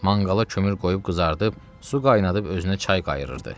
Manqala kömür qoyub qızardıb, su qaynayıb özünə çay qayırdı.